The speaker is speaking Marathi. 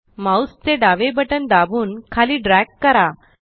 माउस चे डावे बटन दाबून खाली ड्रॅग करा